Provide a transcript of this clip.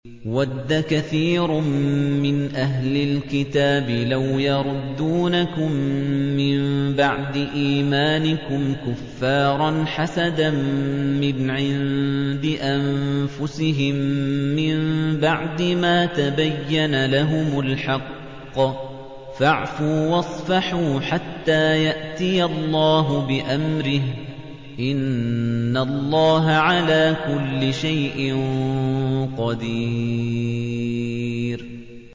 وَدَّ كَثِيرٌ مِّنْ أَهْلِ الْكِتَابِ لَوْ يَرُدُّونَكُم مِّن بَعْدِ إِيمَانِكُمْ كُفَّارًا حَسَدًا مِّنْ عِندِ أَنفُسِهِم مِّن بَعْدِ مَا تَبَيَّنَ لَهُمُ الْحَقُّ ۖ فَاعْفُوا وَاصْفَحُوا حَتَّىٰ يَأْتِيَ اللَّهُ بِأَمْرِهِ ۗ إِنَّ اللَّهَ عَلَىٰ كُلِّ شَيْءٍ قَدِيرٌ